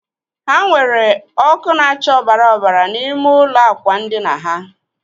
Ha nweere ọkụ na-acha ọbara ọbara n'ime ụlọ ákwà ndina ha?